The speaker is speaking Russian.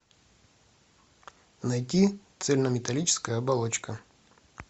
найди цельнометаллическая оболочка